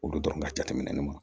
Olu dɔrɔn ka jateminɛ ma